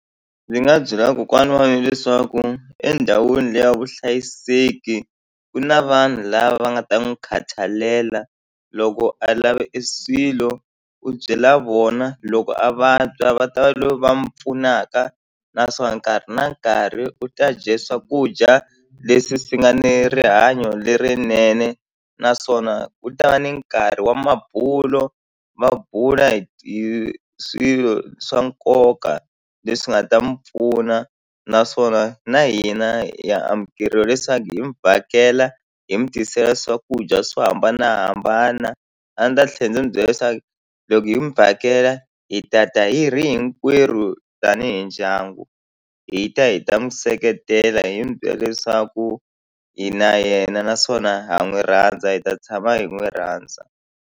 Ni nga byela kokwana wa mina leswaku endhawini le ya vuhlayiseki ku na vanhu lava va nga ta n'wi khatalela. Loko a lave e swilo u byela vona loko a vabya va ta va lo va pfunaka naswona nkarhi na nkarhi u ta dye swakudya leswi swi nga ni rihanyo lerinene naswona ku ta va ni nkarhi wa mabulo va bula hi swilo swa nkoka leswi nga ta mi pfuna naswona na hina hi ya amukeriwa leswaku hi mi vhakela hi mi tisela swakudya swo hambanahambana a ndzi ta tlhela ndzi n'wi byela leswaku loko hi mi vhakela la hi tata hi ri hinkwerhu tanihi ndyangu hi ta hi ta n'wi seketela hi n'wi byela leswaku hi na yena naswona ha n'wi rhandza hi ta tshama hi n'wi rhandza.